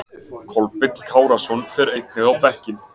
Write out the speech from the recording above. Kolbeinn Kárason fer einnig á bekkinn.